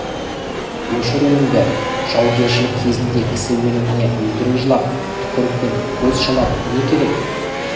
өшір үніңді жаугершілік кезінде кісі өліміне өтірік жылап түкірікпен көз шылап не керек